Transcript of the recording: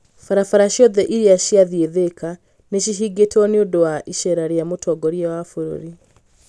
Barabara ciothe iria ciathiĩ thika nĩ cihingĩtwo nĩ ũndũ wa ĩceera rĩa mũtongoria wa bũrũri